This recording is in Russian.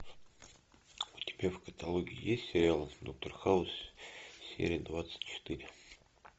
у тебя в каталоге есть сериал доктор хаус серия двадцать четыре